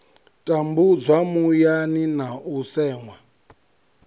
tambudzwa muyani na u seṅwa